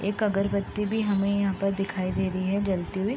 एक अगरबती भी हमे यहाँ पर दिखाई दे रही है जलती हुई।